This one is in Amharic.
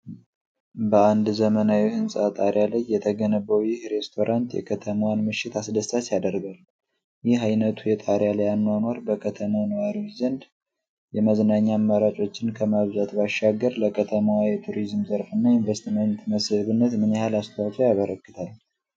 በአንድ ዘመናዊ ሕንጻ ጣሪያ ላይ የተገነባው ይህ ሬስቶራንት የከተማዋን ምሽት አስደሳች ያደርጋል። ይህ ዓይነቱ የጣሪያ ላይ አኗኗር በከተማው ነዋሪዎች ዘንድ የመዝናኛ አማራጮችን ከማብዛት ባሻገር፤ ለከተማዋ የቱሪዝም ዘርፍ እና የኢንቨስትመንት መስህብነት ምን ያህል አስተዋፅዖ ያበረክታል?